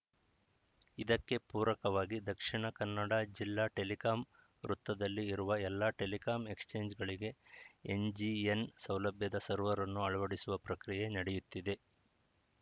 ಇದಕ್ಕೆ ಪೂರಕವಾಗಿ ದಕ್ಷಿಣ ಜಿಲ್ಲಾ ಟೆಲಿಕಾಂ ವೃತ್ತದಲ್ಲಿ ಇರುವ ಎಲ್ಲ ಟೆಲಿಕಾಂ ಎಕ್ಸ್‌ಚೇಂಜ್‌ಗಳಿಗೆ ಎನ್‌ಜಿಎನ್‌ ಸೌಲಭ್ಯದ ಸರ್ವರನ್ನು ಅಳವಡಿಸುವ ಪ್ರಕ್ರಿಯೆ ನಡೆಯುತ್ತಿದೆ